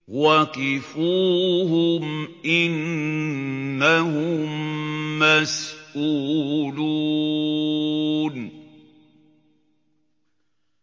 وَقِفُوهُمْ ۖ إِنَّهُم مَّسْئُولُونَ